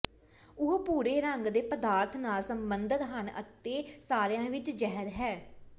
ਉਹ ਭੂਰੇ ਰੰਗ ਦੇ ਪਦਾਰਥ ਨਾਲ ਸੰਬੰਧਤ ਹਨ ਅਤੇ ਸਾਰਿਆਂ ਵਿਚ ਜ਼ਹਿਰ ਹੈ